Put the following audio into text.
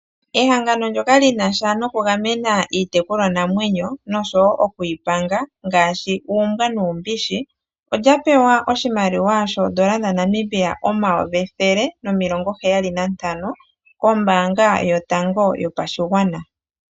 Ehangano ndyoka lina sha noku ganena iitekulwa namwenyo nosho wo okuyi panga ngaashi uumbwa nuumbishi. Olya pewa oshimaliwa shoondola dha Namibia omayovi ethele nomilongo heyali na ntano kombaanga yotango yopashigwana.